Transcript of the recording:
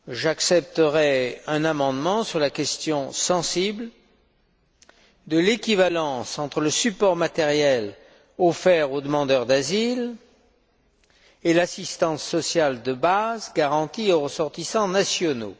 J'accepterai un amendement sur la question sensible de l'équivalence entre le support matériel offert aux demandeurs d'asile et l'assistance sociale de base garantie aux ressortissants nationaux.